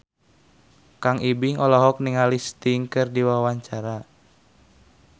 Kang Ibing olohok ningali Sting keur diwawancara